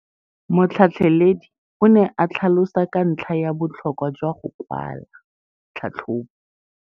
Motlhatlheledi o ne a tlhalosa ka ntlha ya botlhokwa jwa go kwala tlhatlhôbô.